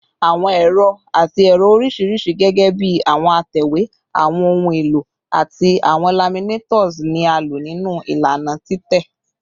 Awọn ẹrọ ati ẹrọ oriṣiriṣi, gẹgẹbi awọn atẹwe, awọn ohun elo, ati awọn laminators, ni a lo ninu ilana titẹ